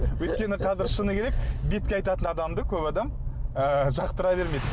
өйткені қазір шыны керек бетке айтатын адамды көп адам ы жақтыра бермейді